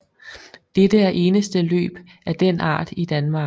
Dette er eneste løb af den art i Danmark